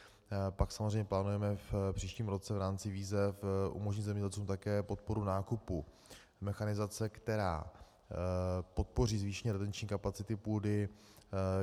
Pak samozřejmě plánujeme v příštím roce v rámci výzev umožnit zemědělcům také podporu nákupu mechanizace, která podpoří zvýšení retenční kapacity půdy.